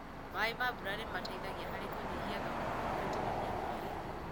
Maĩ ma mbura nĩ mateithagia harĩ kũnyihia thogora wa gũitĩrĩria maĩ.